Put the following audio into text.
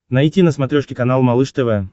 найти на смотрешке канал малыш тв